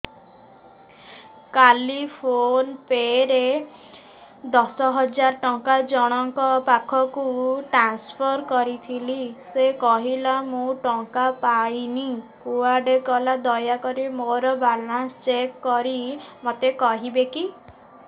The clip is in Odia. କାଲି ଫୋନ୍ ପେ ରେ ଦଶ ହଜାର ଟଙ୍କା ଜଣକ ପାଖକୁ ଟ୍ରାନ୍ସଫର୍ କରିଥିଲି ସେ କହିଲା ମୁଁ ଟଙ୍କା ପାଇନି କୁଆଡେ ଗଲା ଦୟାକରି ମୋର ବାଲାନ୍ସ ଚେକ୍ କରି ମୋତେ କହିବେ କି